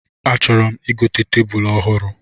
A chọrọ m igote tebulu ọhụrụ